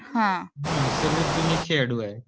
सर्वच जुने खेळाडू आहेत.